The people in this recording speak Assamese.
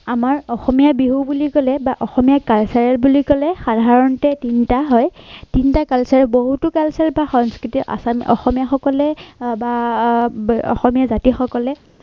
আমাৰ অসমীয়া বিহু বুলি কলে বা অসমীয়া cultural বুলি কলে সাধাৰণতে তিনিটা হয় তিনিটা culture বহুতো culture ৰ পৰা সংস্কৃতি অসমীয়াসকলে বা অসমীয়া জাতিৰ সকলে